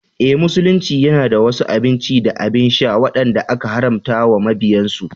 Eh, Musulunci yana da wasu abinci da abin sha wadanda aka haramta wa mabiyansu.